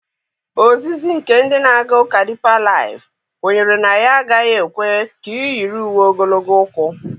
Ozizi nke ndị na-aga ụka Dipa laịf kwenyere na ya agaghị ekwe ka ị yiri uwe ogologo ụkwụ.